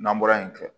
N'an bɔra yen